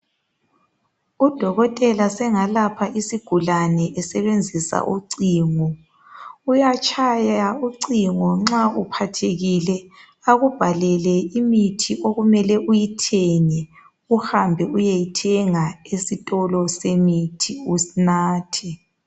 Udokotela sengalapha isigulane esebenzisa ucingo. Uyatshaya ucingo nxa uphathekile akubhalele imithi okumele uyithenge uhambe uyeyithenga esitolo semithi unathe